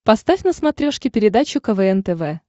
поставь на смотрешке передачу квн тв